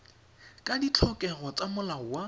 ka ditlhokego tsa molao wa